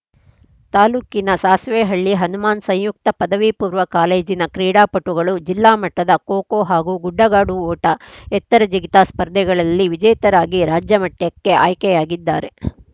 ತಾಲೂಕಿನ ಸಾಸ್ವಿಹಳ್ಳಿ ಹನುಮಾನ್‌ ಸಂಯುಕ್ತ ಪದವಿ ಪೂರ್ವ ಕಾಲೇಜಿನ ಕ್ರೀಡಾ ಪಟುಗಳು ಜಿಲ್ಲಾ ಮಟ್ಟದ ಖೋ ಖೋ ಹಾಗೂ ಗುಡ್ಡಗಾಡು ಓಟ ಎತ್ತರ ಜಿಗಿತ ಸ್ಪರ್ಧೆಗಳಲ್ಲಿ ವಿಜೇತರಾಗಿ ರಾಜ್ಯಮಟ್ಟಕ್ಕೆ ಆಯ್ಕೆಯಾಗಿದ್ದಾರೆ